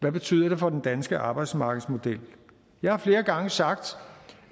det betyder for den danske arbejdsmarkedsmodel jeg har flere gange sagt